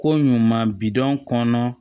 Ko ɲuman bi dɔn kɔnɔ